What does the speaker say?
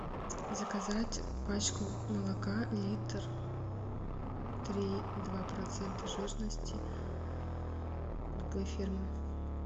заказать пачку молока литр три и два процента жирности любой фирмы